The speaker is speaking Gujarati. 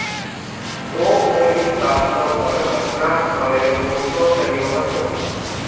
તો પોલીસ કાફલો પણ ઘટનાસ્થળે દોડતો થયો હતો